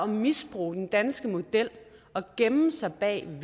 misbruge den danske model og gemme sig bag den